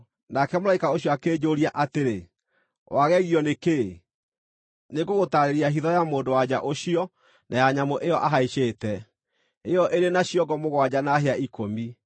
Nake mũraika ũcio akĩnjũũria atĩrĩ: “Wagegio nĩ kĩĩ? Nĩngũgũtaarĩria hitho ya mũndũ-wa-nja ũcio na ya nyamũ ĩyo ahaicĩte, ĩyo ĩrĩ na ciongo mũgwanja na hĩa ikũmi.